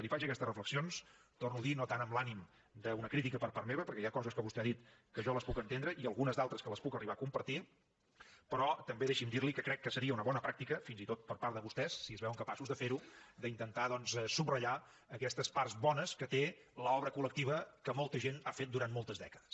li faig aquestes reflexions ho torno a dir no tant amb l’ànim d’una crítica per part meva perquè hi ha coses que vostè ha dit que jo les puc entendre i algunes altres que les puc arribar a compartir però també deixi’m dir li que crec que seria una bona pràctica fins i tot per part de vostès si es veuen capaços de ferho d’intentar doncs subratllar aquestes parts bones que té l’obra col·lectiva que molta gent ha fet durant moltes dècades